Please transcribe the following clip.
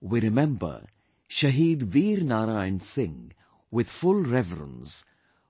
We remember Shaheed Veer Narayan Singh with full reverence,